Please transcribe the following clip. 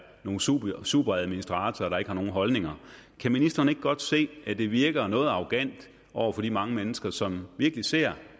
nogle superadministratorer der ikke har nogen holdninger kan ministeren ikke godt se at det virker noget arrogant over for de mange mennesker som virkelig ser